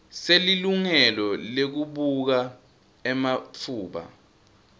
selilungelo lekubuka ematfuba